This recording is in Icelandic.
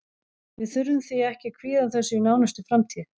Við þurfum því ekki að kvíða þessu í nánustu framtíð.